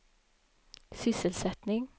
sysselsättning